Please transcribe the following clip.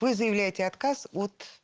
вы заявляете отказ от